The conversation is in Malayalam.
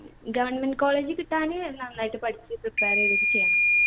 government college ൽ കിട്ടാന് നന്നായിട്ട് പഠിച്ച് prepare എയ്തിട്ട് ചെയ്യണം.